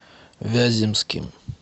вяземским